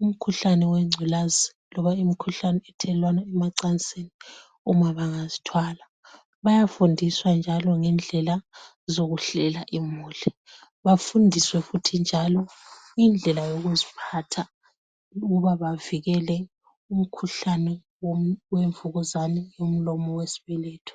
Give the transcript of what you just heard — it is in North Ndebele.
Imikhuhlane wengculazi loba imikhuhlane ethelelwana emacansini uma bangazithwala. Bayafundiswa njalo ngendlela zokuhlela imuli, bafundiswe futhi njalo indlela yokuziphatha ukuba bavikele umkhuhlane wemvukuzane yomlomo wesibeletho.